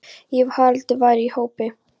Ég hélt að Haraldur væri í hópi